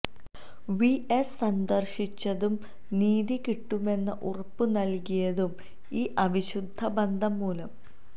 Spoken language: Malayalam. വി എസ് സന്ദർശിച്ചതും നീതി കിട്ടുമെന്ന് ഉറപ്പു നൽകിയതും ഈ അവിശുദ്ധ ബന്ധം മൂലം